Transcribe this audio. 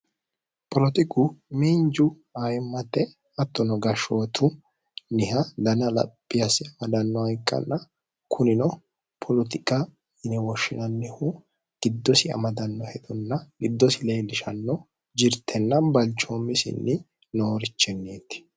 Poletiku miinju ayimmate hattonno gashootunniha danna xaphi asse amadanoha ikkanna